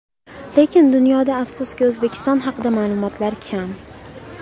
Lekin, dunyoda afsuski, O‘zbekiston haqida ma’lumotlar kam.